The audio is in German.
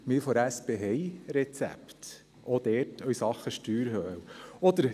Wir von der SP haben Rezepte, auch dort, in Sachen «Steuerhölle».